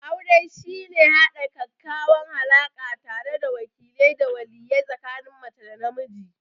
Aure shine haɗa ƙaƙƙawan alaka tare da wakile da waliye tsikanin mace da namiji?